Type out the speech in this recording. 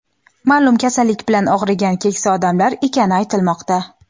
ma’lum kasallik bilan og‘rigan keksa odamlar ekani aytilmoqda.